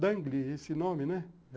Dangle, esse nome, né?